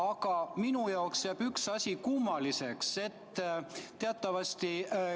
Aga minu jaoks jääb üks asi kummaliseks.